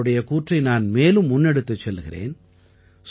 அவருடைய கூற்றை நான் மேலும் முன்னெடுத்துச் செல்கிறேன்